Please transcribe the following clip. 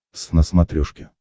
твз на смотрешке